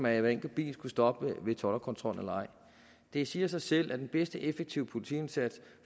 at hver enkelt bil skulle stoppe ved toldkontrollen det siger sig selv at den mest effektive politiindsats jo